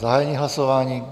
Zahájení hlasování.